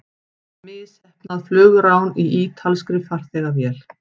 Misheppnað flugrán í ítalskri farþegavél